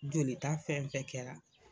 Joli ta fɛnfɛn kɛra.